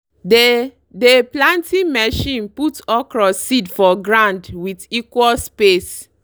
dey dey planting machine put okra seed for ground with equal space.